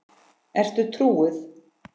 Ertu trúuð?